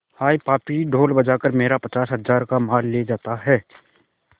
हाय पापी ढोल बजा कर मेरा पचास हजार का माल लिए जाता है